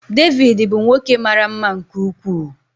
David bụ nwoke mara mma nke ukwuu.